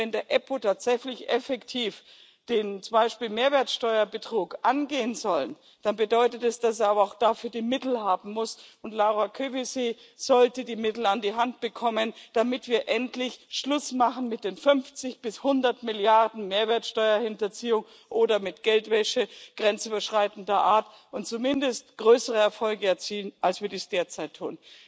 Denn wenn die EUStA tatsächlich effektiv zum Beispiel den Mehrwertsteuerbetrug angehen soll, dann bedeutet das, dass sie dafür auch die Mittel haben muss, und Laura Kövesi sollte die Mittel an die Hand bekommen, damit wir endlich Schluss machen mit den 50 bis 100 Milliarden EUR Mehrwertsteuerhinterziehung oder mit Geldwäsche grenzüberschreitender Art und zumindest größere Erfolge erzielen, als wir es derzeit